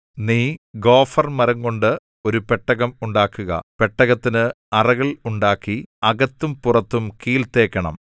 നീ ഗോഫർമരംകൊണ്ട് ഒരു പെട്ടകം ഉണ്ടാക്കുക പെട്ടകത്തിന് അറകൾ ഉണ്ടാക്കി അകത്തും പുറത്തും കീൽ തേക്കണം